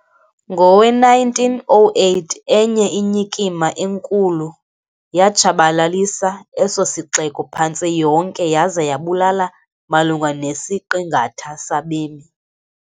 Ngowe-1908 enye inyikima enkulu yatshabalalisa eso sixeko phantse yonke, yaza yabulala malunga nesiqingatha sabemi.